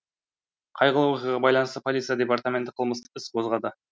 қайғылы оқиғаға байланысты полиция департаменті қылмыстық іс қозғады